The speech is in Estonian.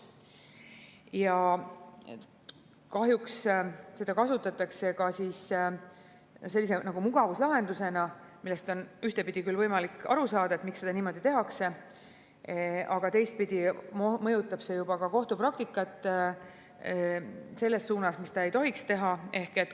Ja kahjuks seda kasutatakse ka nagu mugavuslahendusena, millest on ühtpidi küll võimalik aru saada, miks niimoodi tehakse, aga teistpidi mõjutab see kohtupraktikat ka selles suunas, mida ta ei tohiks teha.